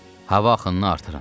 Hava axınını artırın.